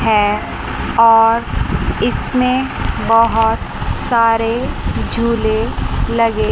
हैं और इसमें बहोत सारे झूले लगे--